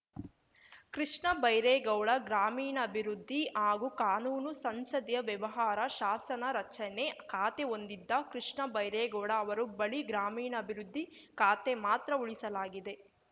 ಕೃಷ್ಣ ಬೈರೇಗೌಡ ಗ್ರಾಮೀಣಾಭಿವೃದ್ಧಿ ಹಾಗೂ ಕಾನೂನು ಸಂಸದೀಯ ವ್ಯವಹಾರ ಶಾಸನ ರಚನೆ ಖಾತೆ ಹೊಂದಿದ್ದ ಕೃಷ್ಣ ಬೈರೇಗೌಡ ಅವರು ಬಳಿ ಗ್ರಾಮೀಣಾಭಿವೃದ್ಧಿ ಖಾತೆ ಮಾತ್ರ ಉಳಿಸಲಾಗಿದೆ